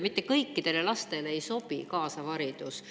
Mitte kõikidele lastele ei sobi kaasav haridus.